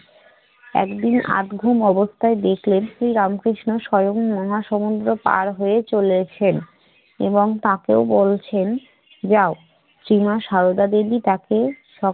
একদিন আধ ঘুম অবস্থায় দেখলেন শ্রী রামকৃষ্ণ স্বয়ং মহাসমুদ্র পাড় হয়ে চলেছেন এবং তাকেও বলছে যাও সীমা সারদা দেবী তাকে সব